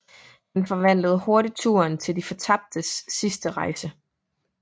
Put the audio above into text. Han forvandler hurtigt turen til de fortabtes sidste rejse